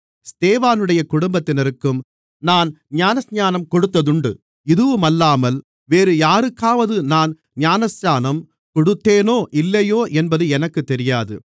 ஸ்தேவானுடைய குடும்பத்தினருக்கும் நான் ஞானஸ்நானம் கொடுத்ததுண்டு இதுவுமல்லாமல் வேறு யாருக்காவது நான் ஞானஸ்நானம் கொடுத்தேனோ இல்லையோ என்பது எனக்குத் தெரியாது